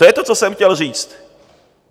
To je to, co jsem chtěl říct.